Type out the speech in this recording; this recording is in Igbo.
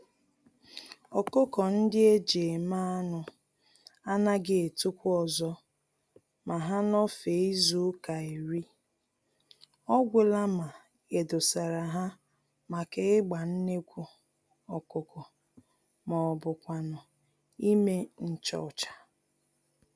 ọkụkọ-ndị-eji-eme-anụ anaghị etokwa ọzọ ma ha nọfee izuka iri, ọgwụla ma edosara ha màkà ịgba nnekwu ọkụkọ m'obu kwánụ ímé nchọcha.